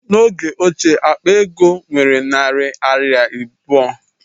N'oge ochie, akpa ego nwere narị naira abụọ